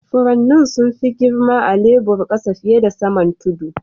Furannin sun fi girma a'lebur kasa fiyar da saman tudu.